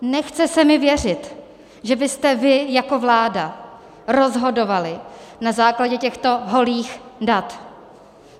Nechce se mi věřit, že byste vy jako vláda rozhodovali na základě těchto holých dat.